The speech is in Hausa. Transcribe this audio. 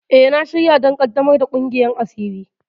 E, na shirya don ƙaddamar da ƙungiyar asiri.